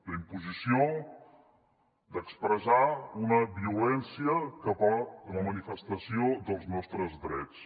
d’imposició d’expressar una violència cap a la manifestació dels nostres drets